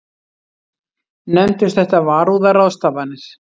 Nefndust þetta varúðarráðstafanir.